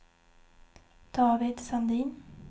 David Sandin